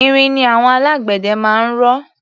Irin ni àwọn alágbẹ̀dẹ máa ń rọ.